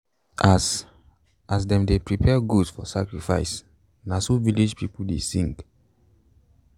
as as them dey prepare goat for sacrifice na so village people dey sing.